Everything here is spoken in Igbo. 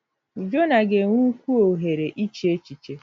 Jonah ga-enwe ukwuu ohere iche echiche.